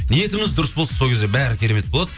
ниетіміз дұрыс болсын сол кезде бәрі керемет болады